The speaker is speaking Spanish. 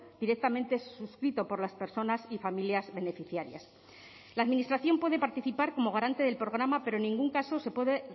directamente suscrito por las personas y familias beneficiarias la administración puede participar como garante del programa pero en ningún caso se puede